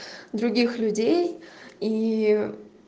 других людей и